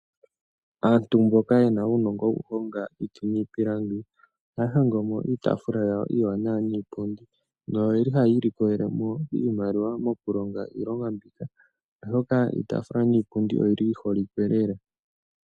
Aantu mboka ye na uunongo woku honga iiti niipilangi, ohaa hongo mo iitaafula yawo iiwanawa niipundi, noye li hayi ilikolele mo iimaliwa moku longa iilonga mbika, oshoka iitaafula niipundi oyi li yi holike lela.